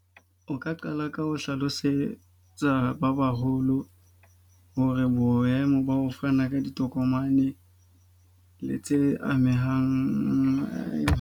O ka qala ka ho hlalosetsa ba baholo hore boemo ba ho fana ka ditokomane le tse amehang .